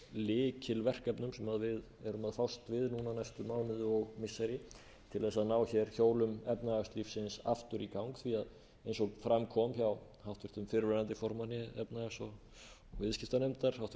sem við erum að fást við núna næstu mánuði og missiri til þess að ná hér hjólum efnahagslífsins aftur í gang því að eins og fram kom hjá háttvirtur fyrrverandi formanni efnahags og viðskiptanefndar háttvirtur þingmaður pétri